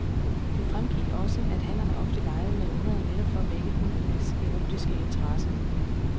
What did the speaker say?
Det fremgik også, at hannerne ofte legede med ungerne netop for at vække hunnernes erotiske interesse.